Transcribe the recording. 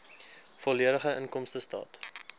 volledige inkomstestaat